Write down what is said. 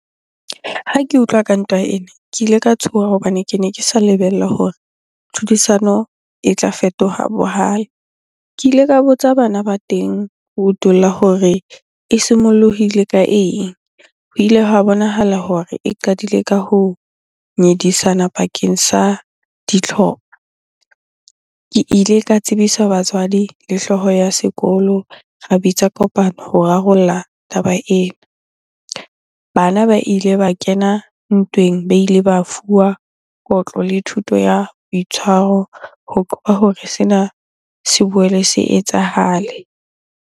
Ha ke utlwa ka ntwa ena, ke ile ka tshoha hobane kene ke sa lebella hore tlhodisano e tla fetoha bohale. Ke ile ka botsa bana ba teng ho utulla hore e simollohile ka eng? Ho ile hwa bonahala hore e qadile ka ho nyedisana bakeng sa ditlhopa. Ke ile ka tsebisa batswadi le hlooho ya sekolo, ra bitsa kopano ho rarolla taba ena. Bana ba ile ba kena ntweng, ba ile ba fuwa kotlo le thuto ya boitshwaro ho qoba hore sena se boele se etsahale.